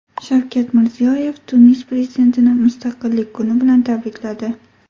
Shavkat Mirziyoyev Tunis prezidentini Mustaqillik kuni bilan tabrikladi.